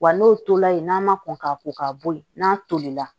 Wa n'o tola yen n'a ma kɔn ka ko ka bɔ yen n'a tolila